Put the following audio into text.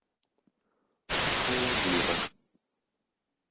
алагира